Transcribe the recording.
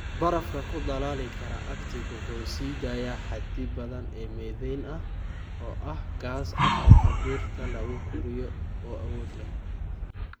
Barafka ku dhalaali kara Arctic wuxuu sii daayaa xaddi badan oo methane ah, oo ah gaas aqalka dhirta lagu koriyo oo awood leh.